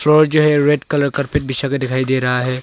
और जो ये रेड कलर कारपेट बिछा के दिखाई दे रहा है।